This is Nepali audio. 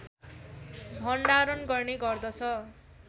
भण्डारण गर्ने गर्दछ